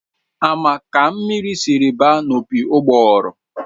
Ama ka mmiri sịrị ba n'opi ugbọguru?